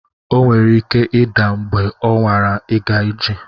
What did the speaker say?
O nwere ike ịda mgbe ọ nwara ịga ije.